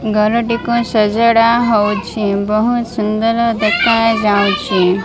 ଘରଟିକୁ ସଜଡା ହଉଛି। ବହୁତ ସୁନ୍ଦର ଦେଖାଯାଉଚି।